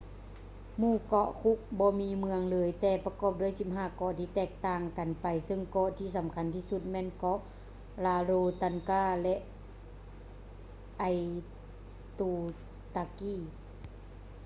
ໝູ່ເກາະ cook ບໍ່ມີເມືອງເລີຍແຕ່ປະກອບດ້ວຍ 15 ເກາະທີ່ຕ່າງກັນໄປ ເຊິ່ງເກາະທີ່ສຳຄັນທີ່ສຸດແມ່ນເກາະ rarotonga ແລະ aitutaki